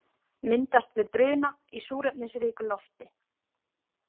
Myndast við bruna í súrefnisríku lofti.